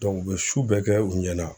u bɛ su bɛɛ kɛ u ɲɛna